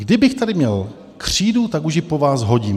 Kdybych tady měl křídu, tak už ji po vás hodím.